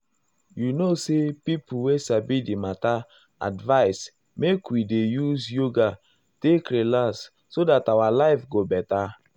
you know say pipo wey sabi di matter advise make we dey use yoga take relax so dat our life go beta.